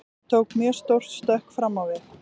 Ég tók mjög stórt stökk fram á við.